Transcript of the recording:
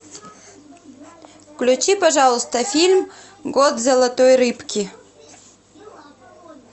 включи пожалуйста фильм год золотой рыбки